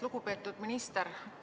Lugupeetud minister!